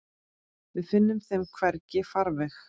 Við finnum þeim hvergi farveg.